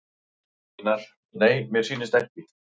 Einar: Nei mér sýnist ekki.